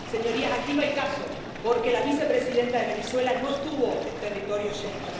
Señorías, aquí no hay caso, porque la vicepresidenta de Venezuela no estuvo en territorio Schengen.